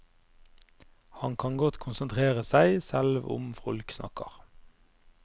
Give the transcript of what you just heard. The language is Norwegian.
Han kan godt konsentrere seg selv om folk snakker.